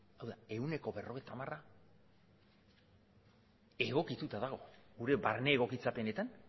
hau da ehuneko berrogeita hamara egokituta dago gure barne egokitzapenetan